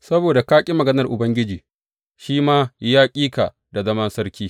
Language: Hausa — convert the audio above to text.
Saboda ka ƙi maganar Ubangiji, shi ma ya ƙi ka da zaman sarki.